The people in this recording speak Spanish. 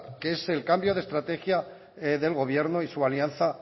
que es el cambio de estrategia del gobierno y su alianza